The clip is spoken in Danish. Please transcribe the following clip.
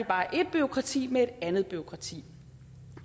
bare et bureaukrati med et andet bureaukrati